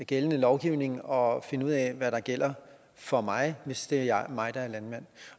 gældende lovgivning og finde ud af hvad der gælder for mig hvis det er mig der er landmand